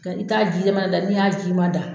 Nka i t'a ji ma da, n'i y'a ji ma da